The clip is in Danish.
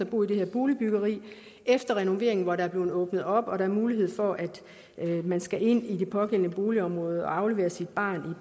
bo i det her boligbyggeri efter renoveringen hvor der er blevet åbnet op og der mulighed for at man skal ind i det pågældende boligområde og aflevere sit barn